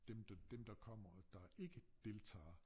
Dem der dem der kommer der ikke deltager